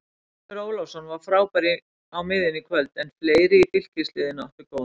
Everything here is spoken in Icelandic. Finnur Ólafsson var frábær á miðjunni í kvöld en fleiri í Fylkisliðinu áttu góðan leik.